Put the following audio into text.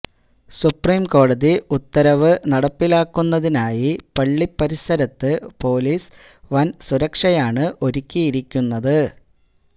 സുപ്രീംകോടതി ഉത്തരവ് നടപ്പിലാക്കുന്നതിനായി പള്ളി പരിസരത്ത് പൊലീസ് വൻ സുരക്ഷയാണ് ഒരുക്കിയിരിക്കുന്നത്